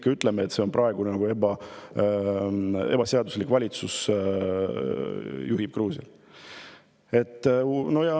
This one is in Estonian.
Kas me ikka ütleme, et praegune valitsus, kes juhib Gruusiat, on ebaseaduslik?